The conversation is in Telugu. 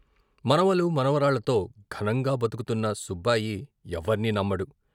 మనవలు, మనవరాళ్ళతో ఘనంగా బతుకుతున్న సుబ్బాయి ఎవర్నీ నమ్మడు.